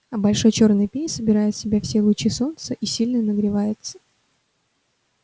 а большой чёрный пень собирает в себя лучи солнца и сильно нагревается